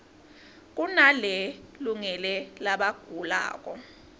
kunale lungele labagulako